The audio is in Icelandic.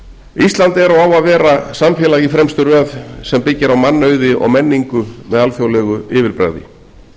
forseti ísland er og á að vera samfélag í fremstu röð sem byggir á mannauði og menningu með alþjóðlegu yfirbragði